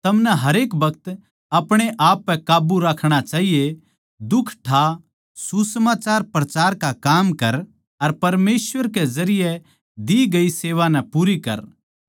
थमनै हरेक बखत अपणे आप पै काब्बू राखणा चाहिए दुख ठा सुसमाचार प्रचार का काम कर अर परमेसवर के जरिये दी गई सेवा नै पूरी कर